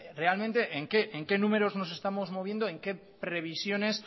realmente en qué números nos estamos moviendo en qué previsiones